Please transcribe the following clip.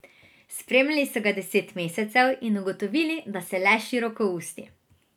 Spremljali so ga deset mesecev in ugotovili, da se le širokousti.